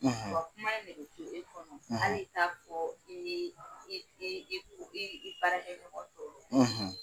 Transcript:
kuma in de be to e kɔnɔ, , hali t'a fɔ i i i baarakɛ ɲɔgɔn tɔw ye